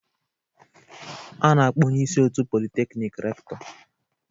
A na-akpọ onye isi otu Polytechnic Rector